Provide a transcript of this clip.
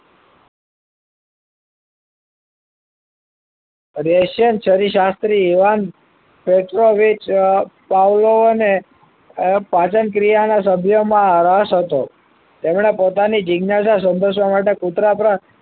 રેશિયન ચરી શાસ્ત્રી એવન નેચરલ ઓફ પાચન ક્રિયાના સભ્યોમાં રસ હતો તેમણે પોતાની જિજ્ઞાસા સપોસવા માટે કુતરા પર